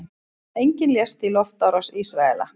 Enginn lést í loftárás Ísraela